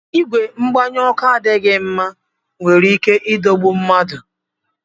Ìgwè mgbanye ọkụ adịghị mma nwere ike idogbu mmadụ